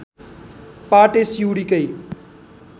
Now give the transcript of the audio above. पाटे सिउँडीकै